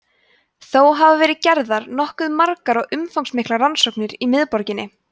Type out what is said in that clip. þó hafa verið gerðar nokkuð margar og umfangsmiklar rannsóknir í miðborginni